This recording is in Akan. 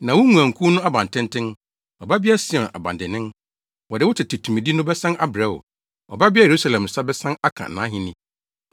Na wo, nguankuw no abantenten, Ɔbabea Sion, abandennen, wɔde wo tete tumidi no bɛsan abrɛ wo; Ɔbabea Yerusalem nsa bɛsan aka nʼahenni.”